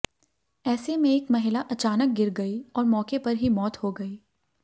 ऐसे में एक महिला अचानक गिर गई और मौके पर ही मौत हो गई